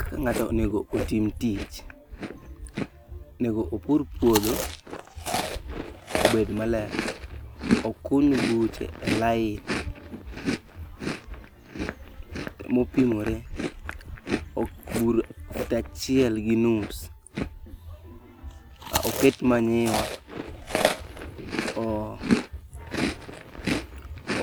Kaka ng'ato onego otim tich, onego opur puodho obed maler, okuny buche e line mopimore, bur fut achiel gi nus. Oket manure